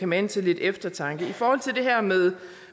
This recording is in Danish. mane til lidt eftertanke i forhold til det her med